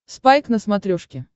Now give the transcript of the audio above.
спайк на смотрешке